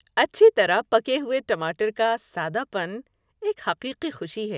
اچھی طرح پکے ہوئے ٹماٹر کا سادہ پن ایک حقیقی خوشی ہے۔